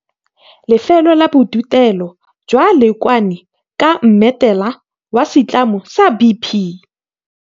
Lefelo la Bodutelo jwa Leokwane ka Mmetela la Setlamo sa BP.